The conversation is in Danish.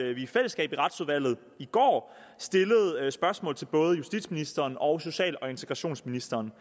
i fællesskab i retsudvalget i går stillede spørgsmål til både justitsministeren og social og integrationsministeren